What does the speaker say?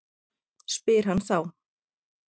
spyr hann þá.